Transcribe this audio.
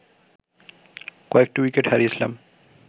কয়েকটি উইকেট হারিয়েছিলাম